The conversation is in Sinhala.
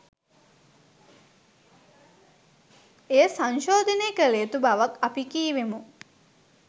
එය සංශෝධනය කළ යුතු බවත් අපි කීවෙමු